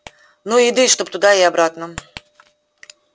ну и еды чтоб туда и обратно